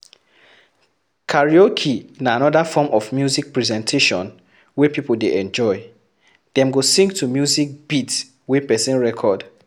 karaoke na anoda form of music presentation wey pipo dey enjoy, dem go sing to music beat wey person record